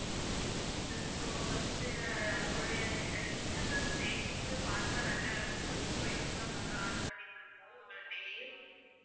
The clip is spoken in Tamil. so வந்து உங்களுடைய இன்ஸ்டாகிராம் status உ பார்த்து தான் நாங்க ரொம்ப பிடிச்சு போயிருந்துதான் நாங்க order பண்ணிட்ருக்கோம் உங்ககிட்டயே